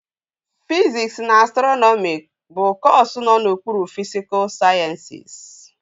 Fiziks na Astrọnọmi bụ kọsu nọ n'okpuru fisikul sayensịs